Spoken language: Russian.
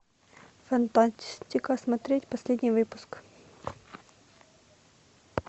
фантастика смотреть последний выпуск